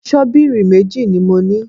Ṣọ́bìrì méjì ni mo ní